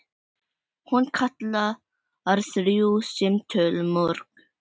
Hún kallar þrjú símtöl mörg.